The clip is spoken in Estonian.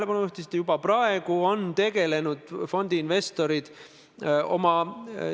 Need on puudega inimesed ja nende esindusorganisatsioon Eesti Puuetega Inimeste Koda.